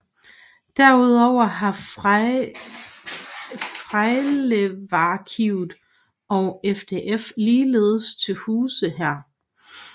Derudover har Frejlevarkivet og FDF ligeledes til huse her